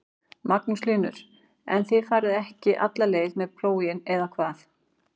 Magnús Hlynur: En þið farið ekki alla leið með plóginn eða hvað?